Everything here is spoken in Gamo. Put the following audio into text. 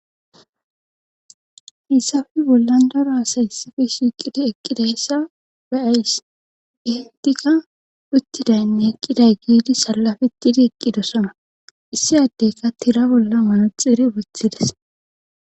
Haysappe bollan daro asay issappe shiqidi eqqidayssa be'ays gehentika uttidaynne eqqiday giidi sallafettidi eqqidosona issi addeyka tira bolla manaxire wothides